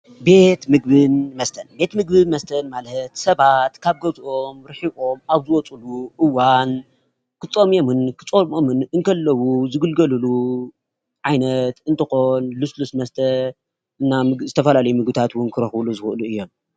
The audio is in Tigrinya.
ቤት ምግብን መስተን፡- ቤት ምግብን መስተን ማለት ሰባት ካብ ገዝኦም ሪሒቆም ኣብ ዝወፅሉ እዋን ክጠምየሙን ከፀምኦምን ከለዉ ዝግልገልሉ ዓይነት እንትኮን ልሰሉስ መስተ እና ዝተፈላላየ ምግብታት እውን ክረክብሉ ዝክእሉ እዮም፡፡